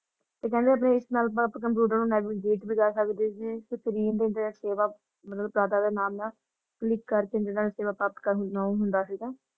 ਤੇ ਕਹਿੰਦੇ ਆਪਣੇ ਇਸ ਨਾਲ ਅੱਪਾ ਕੰਪਿਊਟਰ ਨੂੰ navigate ਵੀ ਕਰ ਸਕਦੇ ਸੀ ਤੇ internet ਸੇਵਾ ਮਤਲਬ click ਕਰਕੇ ਜੇੜਾ ਇਹ ਸੇਵਾ ਪ੍ਰਾਪਤ ਹੁੰਦੀਆਂ ਉਹ ਹੁੰਦਾ ਸੀਗਾ ।